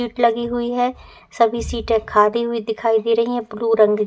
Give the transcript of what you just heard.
Seat लगी हुई हैं। सभी सीटें खादी हुई दिखाई दे रही हैं। ब्लू रंग--